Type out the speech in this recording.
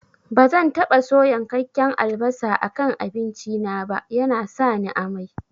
Bazan taɓa so yankakken albasa a kan abinci na ba, yana sani amai